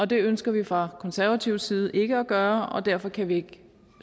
det ønsker vi fra konservativ side ikke at gøre og derfor kan vi ikke